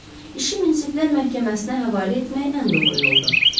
İşi münsiflər məhkəməsinə həvalə etmək ən doğru yoldur.